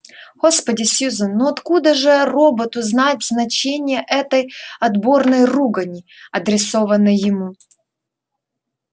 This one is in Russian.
господи сьюзен ну откуда же роботу знать значение этой отборной ругани адресованной ему